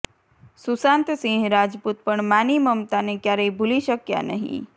સુશાંત સિંહ રાજપૂત પણ માની મમતાને ક્યારેય ભૂલી શક્યા નહિ